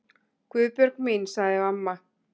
Guðbjörg mín, sagði amma.